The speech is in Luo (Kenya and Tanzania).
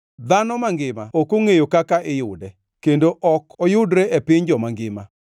Dhano mangima ok ongʼeyo kaka iyude; kendo ok oyudre e piny joma ngima.